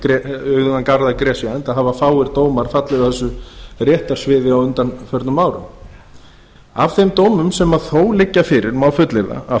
um auðugan garð að gresja enda hafa fáir dómar fallið á þessu réttarsviði á undanförnum árum af þeim dómum sem þó liggja fyrir má fullyrða að